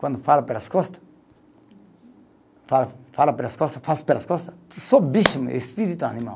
Quando fala pelas costa, fala fala pelas costa, faz pelas costa, que só bicho, espírito animal.